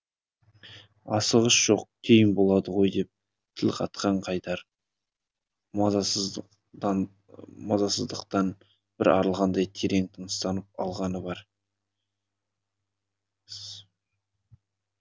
асығыс жоқ кейін болады ғой деп тіл қатқан қайдар мазасыздықтан бір арылғандай терең тыныстап алғаны бар